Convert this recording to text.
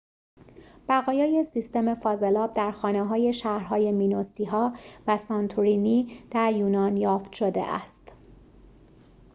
بقایای سیستم فاضلاب در خانه‌های شهرهای مینوسی‌ها و سانتورینی در یونان یافت شده است